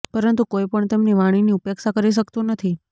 પરંતુ કોઈ પણ તેમની વાણીની ઉપેક્ષા કરી શકતું નથી